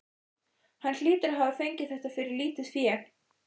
Hann hlýtur að hafa fengið þetta fyrir lítið fé.